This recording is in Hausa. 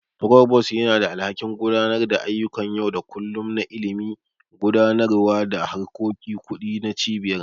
Provost yana da alhakin gudanar da ayyukan yau da kullun na Ilimi, Gudanarwa da harkokin Kudi na Cibiyar.